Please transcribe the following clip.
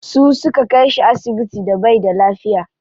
Su suka kai shi asibiti da baida lafiya.